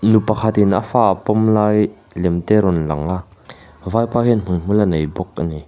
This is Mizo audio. nu pakhatin a fa a pawm lai lem te rawn lang a vaipa hian hmuihmul a nei bawk a ni.